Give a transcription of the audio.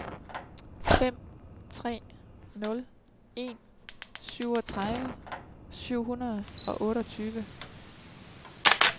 fem tre nul en syvogtredive syv hundrede og otteogtyve